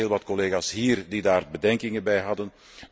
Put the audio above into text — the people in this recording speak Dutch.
Er waren heel wat collega's hier die daar bedenkingen bij hadden.